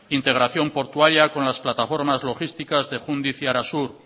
integración portuaria con las plataformas logísticas de jundiz y arasur